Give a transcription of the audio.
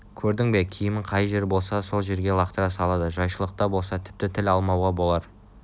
көрдің бе киімін қай жер болса сол жерге лақтыра салады жайшылықта болса тіпті тіл алмауға болар